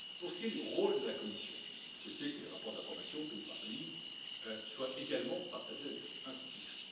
Pour ce qui est du rôle de la Commission, on peut souhaiter que les rapports d'information pays par pays soient également partagés avec cette institution.